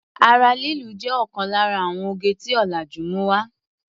Ara lílu jé òkan lára àwon oge tí ọ̀làjú mú wá.